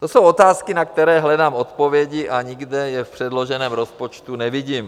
To jsou otázky, na které hledám odpovědi a nikde je v předloženém rozpočtu nevidím.